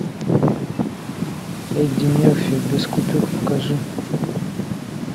эдди мерфи без купюр покажи